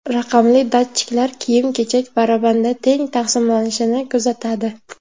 Raqamli datchiklar kiyim-kechak barabanda teng taqsimlanishini kuzatadi.